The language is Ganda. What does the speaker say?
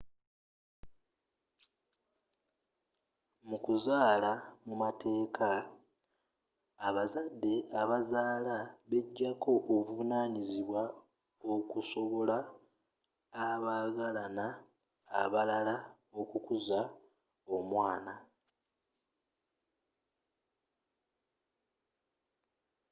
mu kuzaala mu mateeka abazadde abazaala bejjako obuvunanyizibwa okusobola abaagalana abalala okukuza omwana